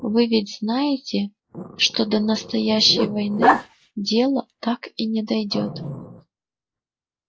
вы ведь знаете что до настоящей войны дело так и не дойдёт